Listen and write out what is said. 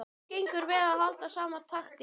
Þeim gengur vel að halda sama takti.